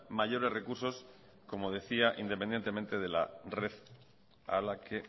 mayores recursos como decía independientemente de la red a la que